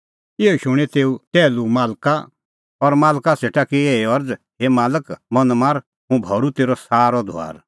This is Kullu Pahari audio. इहअ शूणीं तेऊ टैहलू मालक सेटा माथअ टेक्कअ और धरनीं नाका करै रेखा दैनी और मालक सेटा की एही अरज़ हे मालक मन मार हुंह भरूं तेरअ सारअ धुआर